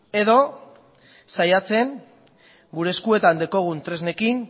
edo saiatzen gure eskuetan dauzkagun tresnekin